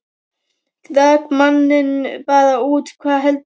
Rak manninn bara út, hvað heldurðu!